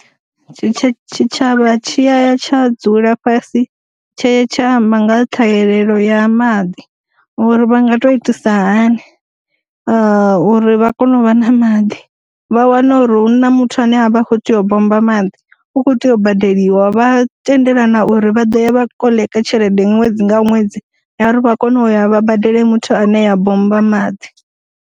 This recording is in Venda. Tshi tsha tshavha tshi ya tsha dzula fhasi tshe tsha amba nga ṱhahelelo ya maḓi uri vha nga to itisa hani a uri vha kone u vha na maḓi, vha wana uri huna muthu ane a vha kho tea u bommba maḓi u kho tea u badeliwa, vha tendelana uri vha ḓo ya vha koḽeka tshelede ṅwedzi nga ṅwedzi uri vha kone u ya vha badele muthu ane ya bommba maḓi.